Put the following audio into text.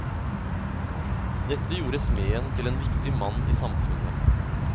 Dette gjorde smeden til en viktig mann i samfunnet.